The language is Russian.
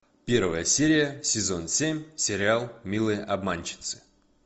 первая серия сезон семь сериал милые обманщицы